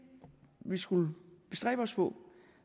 vi skulle bestræbe os på